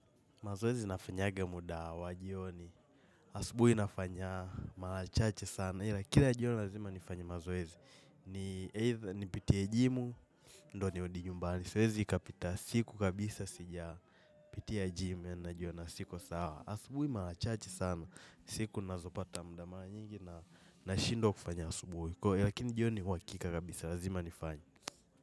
Mazoezi nafanyaga muda wa jioni, asubuhi nafanya, marachache sana, hila kila jioni lazima nifanye mazoezi. Ni eidha nipitie jimu, ndioni nirudinyumbani, siwezi ikapita siku kabisa sija, pitia jimu yani jiona siko sawa. Asubuhi marachache sana, siku nazopata muda mara nyingi na nashindwa kufanya asubuhi, kwahiyo jione lakini uwakika kabisa, lazima nifanye.